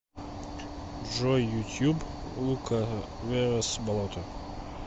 джой ютуб лукаверос болото